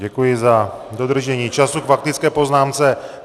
Děkuji za dodržení času k faktické poznámce.